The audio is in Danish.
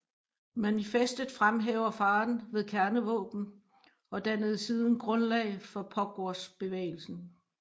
Manifestet fremhæver faren ved kernevåben og dannede siden grundlag for Pugwashbevægelsen